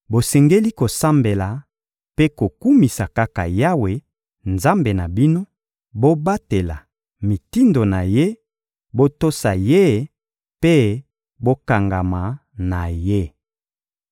Bosengeli kosambela mpe kokumisa kaka Yawe, Nzambe na bino; bobatela mitindo na Ye, botosa Ye mpe bokangama na Ye.